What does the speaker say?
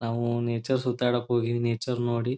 ನಾವು ನೇಚರ್ ಸುತಾಡಕ್ ಹೋಗಿ ನೇಚರ್ ನೋಡಿ --